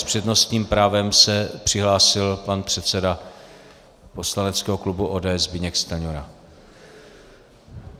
S přednostním právem se přihlásil pan předseda poslaneckého klubu ODS Zbyněk Stanjura.